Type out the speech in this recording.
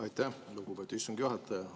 Aitäh, lugupeetud istungi juhataja!